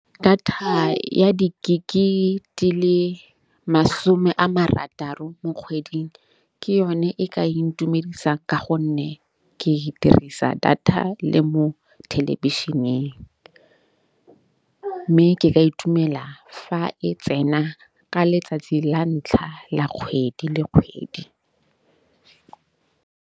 Data ya di-gig-e di le masome a marataro mo kgweding, ke yone e ka intumedisa ka gonne ke dirisa data le mo thelebišeneng. Mme ke ka itumela fa e tsena ka letsatsi la ntlha la kgwedi le kgwedi.